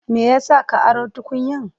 Me ya sa ka aro tukunyan?